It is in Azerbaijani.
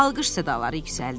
Alqış sədaları yüksəldi.